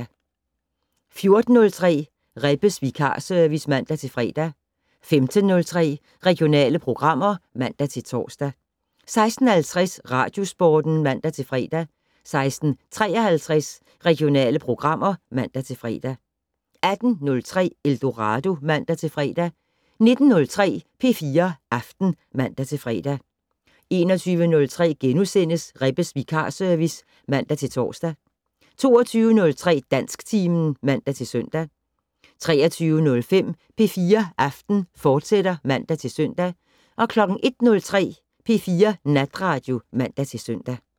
14:03: Rebbes vikarservice (man-fre) 15:03: Regionale programmer (man-tor) 16:50: Radiosporten (man-fre) 16:53: Regionale programmer (man-fre) 18:03: Eldorado (man-fre) 19:03: P4 Aften (man-fre) 21:03: Rebbes vikarservice *(man-tor) 22:03: Dansktimen (man-søn) 23:05: P4 Aften, fortsat (man-søn) 01:03: P4 Natradio (man-søn)